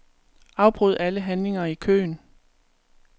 Afbryd alle handlinger i køen.